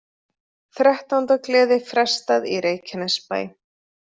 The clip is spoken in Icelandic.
Þrettándagleði frestað í Reykjanesbæ